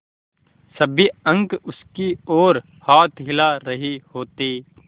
सब अंक उसकी ओर हाथ हिला रहे होते